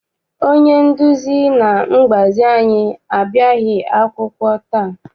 Onye nduzi na mgbazi anyị abịaghị akwụkwọ taa.